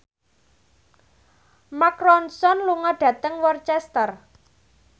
Mark Ronson lunga dhateng Worcester